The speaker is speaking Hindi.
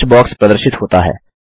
सर्च बॉक्स प्रदर्शित होता है